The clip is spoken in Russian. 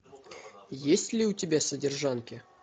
есть ли у тебя содержанки